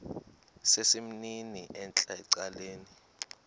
sesimnini entla ecaleni